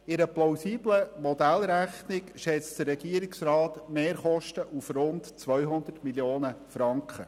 In einer plausiblen Modellrechnung schätzt der Regierungsrat die Mehrkosten auf rund 200 Mio. Franken.